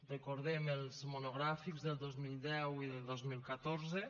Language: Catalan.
recordem els monogràfics del dos mil deu i del dos mil catorze